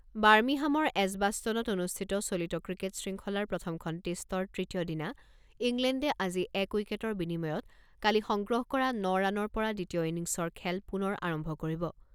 বাৰ্মিহামৰ এজবাষ্টনত অনুষ্ঠিত চলিত ক্ৰিকেট শৃংখলাৰ প্ৰথমখন টেষ্টৰ তৃতীয় দিনা ইংলেণ্ডে আজি এক উইকেটৰ বিনিময়ত কালি সংগ্ৰহ কৰা ন ৰানৰ পৰা দ্বিতীয় ইনিংছৰ খেল পুনৰ আৰম্ভ কৰিব।